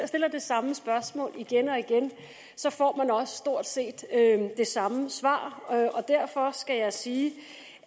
stiller det samme spørgsmål igen og igen får man også stort set det samme svar derfor skal jeg sige